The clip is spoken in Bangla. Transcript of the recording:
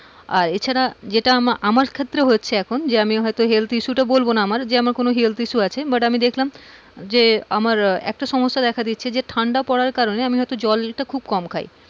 আর এছাড়া যেইটা আমা~আমার ক্ষেত্রে হয়েছে এখন যে আমি হয়তো health issue তো বলবোনা আমার যে আমার কোনো health issue আছে but আমি দেখলাম যে আমার এতটা সমস্যা দেখা দিয়েছে যে ঠান্ডা পড়ার কারণে আমি জল খুব কম খাই,